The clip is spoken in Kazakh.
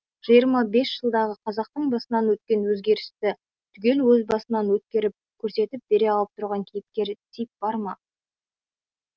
жиырма бес жылдағы қазақтың басынан өткен өзгерісті түгел өз басынан өткеріп көрсетіп бере алып тұрған кейіпкер тип бар ма